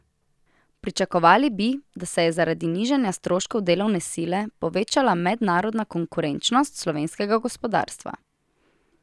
Pričakovali bi, da se je zaradi nižanja stroškov delovne sile povečala mednarodna konkurenčnost slovenskega gospodarstva.